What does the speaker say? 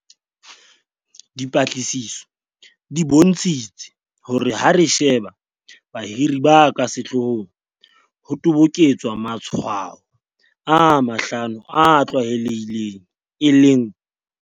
Dipatlisiso di bontshitse hore ha re sheba bahiri ba ka sehlohong ho toboketswa matshwao a mahlano a tlwaelehileng, e leng.